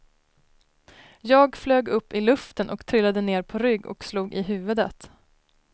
Jag flög upp i luften och trillade ner på rygg och slog i huvudet.